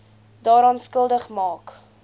daaraan skuldig maak